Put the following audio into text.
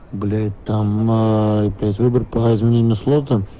блять там ээ опять выбор по изменению слота